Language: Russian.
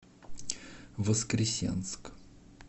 воскресенск